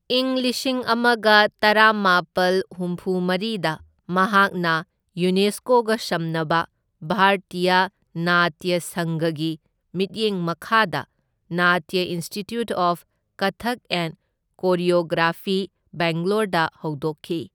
ꯏꯪ ꯂꯤꯁꯤꯡ ꯑꯃꯒ ꯇꯔꯥꯃꯥꯄꯜ ꯍꯨꯝꯐꯨꯃꯔꯤꯗ ꯃꯍꯥꯛꯅ ꯌꯨꯅꯦꯁꯀꯣꯒ ꯁꯝꯅꯕ ꯚꯥꯔꯇ꯭ꯌꯥ ꯅꯥꯇ꯭ꯌ ꯁꯪꯘꯒꯤ ꯃꯤꯠꯌꯦꯡ ꯃꯈꯥꯗ Natya institute of Kathak and choreography, ꯕꯦꯡꯒꯂꯣꯔꯗ ꯍꯧꯗꯣꯛꯈꯤ꯫